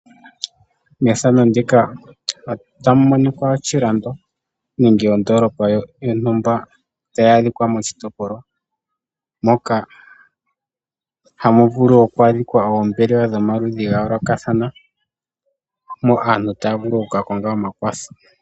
Mefano ndika otamu monika oshilando nenge ondolopa yontumba tayi adhikwa moshitopolwa, moka hamu vulu oku adhikwa oombelewa dhomaludhi gayolokathana moka aantu taya vulu oku ka konga omakwatho.